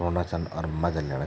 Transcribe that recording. सुनना छन और मजा लीना छन ।